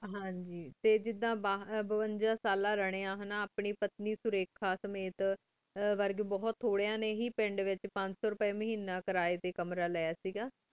ਹਨ ਜੀ ਟੀ ਜਿਦਾਂ ਬਵੇਜਾ ਸਾਲਾਂ ਲਰੇ ਹਨ ਅਪਾ ਸੁਰਿਖਾ ਸਮਿਤ ਵਰਗ ਬੁਹਤ ਥੋਰਾਂ ਹੀ ਥੋਰਾ ਨੀ ਹੀ ਪੰਸੋ ਰਪੀ ਵੇਚ ਕਰੇ ਟੀ ਕਮਰਾ ਲੇਯ ਸੇ ਗਾ